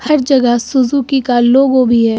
हर जगह सुजुकी का लोगो भी है।